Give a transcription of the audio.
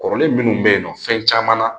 Kɔrɔlen minnu bɛ yen nɔ fɛn caman na